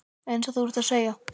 Eins og þú ert að segja.